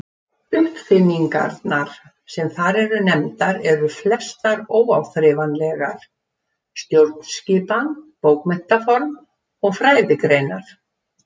Uppfinningarnar sem þar eru nefndar eru flestar óáþreifanlegar: stjórnskipan, bókmenntaform og fræðigreinar.